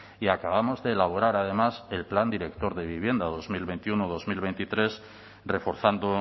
y acabamos de elaborar además el plan director de vivienda dos mil veintiuno dos mil veintitrés reforzando